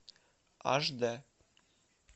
аш д